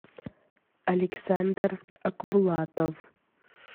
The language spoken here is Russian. александр акбулатов